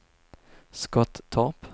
Skottorp